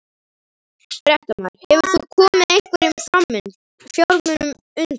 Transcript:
Fréttamaður: Hefur þú komið einhverjum fjármunum undan?